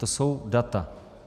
To jsou data.